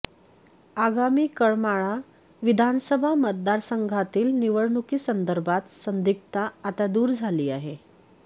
आगामी करमाळा विधानसभा मतदारसंघातील निवडणुकीसंदर्भात संदिग्धता आता दूर झाली आहे